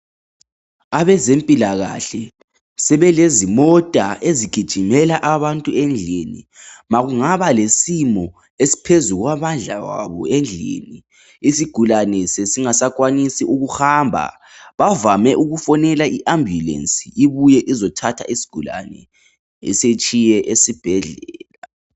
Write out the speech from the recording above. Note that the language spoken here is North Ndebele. Abezempilakahle sebelezimota ezigijimela abantu endlini. Makungaba lesimo esiphezu kwamandla wabo endlini, isigulane sesingasakwanisi ukuhamba bavame ukufonela iambulensi ibuye izothatha isigulane isitshiye esibhedlela.